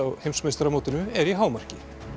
heimsmeistaramótinu er í hámarki